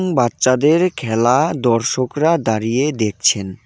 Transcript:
বাচ্চাদের খেলা দর্শকরা দাঁড়িয়ে দেখছেন.